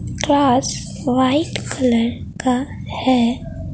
कास white colour का है।